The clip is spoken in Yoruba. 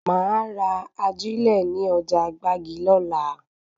Máa ra ajílẹ̀ ní ọjà gbági lola